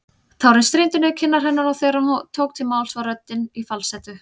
Tárin streymdu niður kinnar hennar og þegar hún tók til máls var röddin í falsettu.